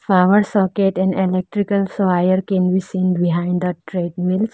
Power socket and electrical soil can be seen behind the trademill.